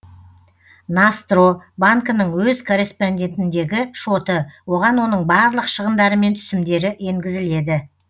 ностро банкінің өз корреспондентіндегі шоты оған оның барлық шығындары мен түсімдері енгізіледі